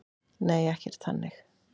Nei, ekkert þannig